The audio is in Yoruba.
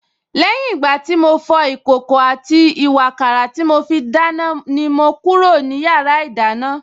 Lẹ́yìn ìgbà tí mo fọ ìkòkò àti ìwààkàrà tí mo fi dáná ni mo kúrò ní yàrá ìdáná